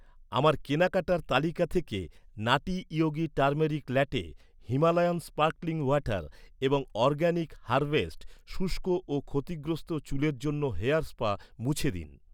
আমার কেনাকাটার তালিকা থেকে নাটি Yogi turmeric latte , Himalayan sparkling water এবং অরগ্যানিক হারভেস্ট শুষ্ক ও ক্ষতিগ্রস্থ চুলের জন্য হেয়ার স্পা মুছে দিন।